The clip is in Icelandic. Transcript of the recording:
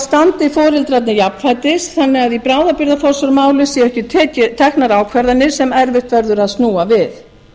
standi foreldrarnir jafnfætis þannig að í bráðabirgðaforsjármáli séu ekki teknar ákvarðanir sem erfitt verður að snúa við